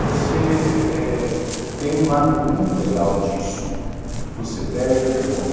Você eh eh tem um lado muito legal disso, você perde a vergonha.